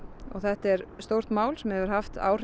þetta er stórt mál sem hefur haft áhrif